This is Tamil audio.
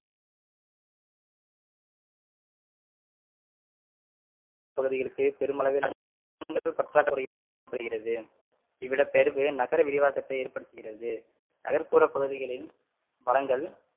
பகுதிகளுக்கு பெருமளவில் பற்றாக்குறை இவ்விடபெயர்வு நகர விரிவாக்கத்தை ஏற்ப்படுத்துகிறது நகர்ப்புற பகுதிகளின் வளங்கள்